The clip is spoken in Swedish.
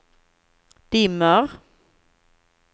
dimmer